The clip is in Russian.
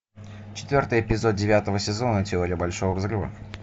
четвертый эпизод девятого сезона теория большого взрыва